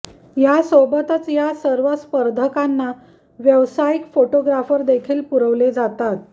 या सोबतच या सर्व स्पर्धकांना व्यवसायिक फोटोग्राफर देखील पुरवले जातात